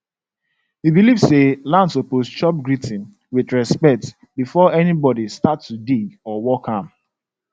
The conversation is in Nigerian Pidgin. we believe say land suppose chop greeting with respect before anybody start to dig or work am